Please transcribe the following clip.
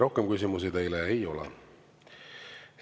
Rohkem küsimusi teile ei ole.